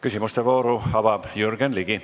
Küsimuste vooru avab Jürgen Ligi.